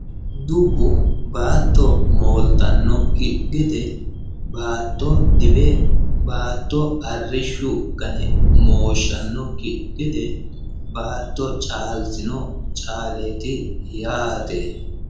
dubbu baatto mooltannokki gede baatto diwe baatto arrishshu gane mooshshannokki gede baatto caalsino caaleeti yaate